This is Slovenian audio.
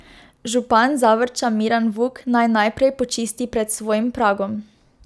Župan Zavrča Miran Vuk naj najprej počisti pred svojim pragom.